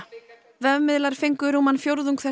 vefmiðlar fengu rúman fjórðung þess